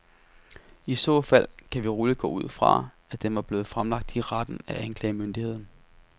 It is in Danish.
I så fald kan vi roligt gå ud fra, at den var blevet fremlagt i retten af anklagemyndigheden.